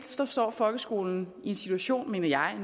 står folkeskolen i en situation mener jeg